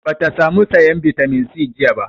Ba ta sa mu sayan bitamin C jiya ba